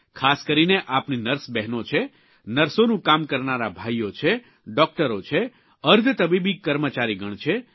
ખાસ કરીને આપણી નર્સ બહેનો છે નર્સોનું કામ કરનારા ભાઇઓ છે ડૉકટરો છે અર્ધતબીબી કર્મચારીગણ છે